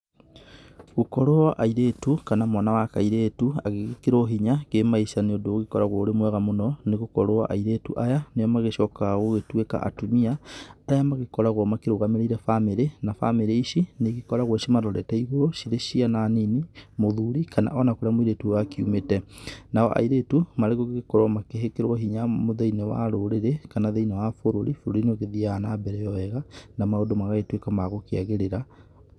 Gũkorwo airĩtu kana mwana wa kairĩtu agĩgĩkĩrwo hinya kĩ-maica nĩ ũndũ ũgĩkoragwo ũrĩ mwega mũno nĩ gũkorwo airĩtu aya, nĩo magĩcokaga gũgĩtuĩka atumia arĩa magĩkoragwo makĩrũgamĩrĩire bamĩrĩ na bamĩrĩ ici nĩ igĩkoragwo cimarorete igũrũ cirĩ ciana nini, mũthuri, kana ona kũrĩa mũirĩtu ũyũ akiumĩte. Nao airĩtu marĩgũgĩkorwo magĩkĩrwo hinya thĩ-inĩ wa rũrĩrĩ kana thĩ-inĩ wa bũrũri, bũrũri nĩ ũgĩthiaga na mbere o wega, na maũndũ magagĩtuĩka ma gũkĩagĩrĩra